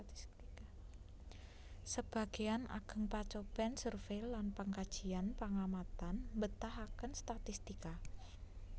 Sebagéyan ageng pacobèn survey lan pangkajian pangamatan mbetahaken statistika